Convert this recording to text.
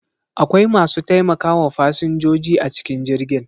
Akwai masu taimakawa fasinjoji a cikin jirgin.